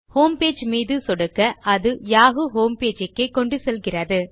homepage மீது சொடுக்க அது யாஹூ ஹோம்பேஜ் க்கே கொண்டு செல்கிறது